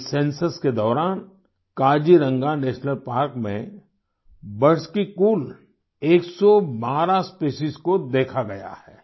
इस सेंसस के दौरान काजीरंगा नेशनल पार्क में बर्ड्स की कुल 112 स्पेसीज को देखा गया है